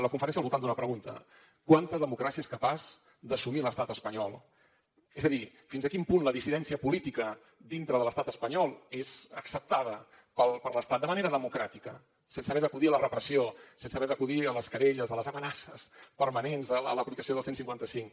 la conferència era al voltant d’una pregunta quanta democràcia és capaç d’assumir l’estat espanyol és a dir fins a quin punt la dissidència política dintre de l’estat espanyol és acceptada per l’estat de manera democràtica sense haver d’acudir a la repressió sense haver d’acudir a les querelles a les amenaces permanents a l’aplicació del cent i cinquanta cinc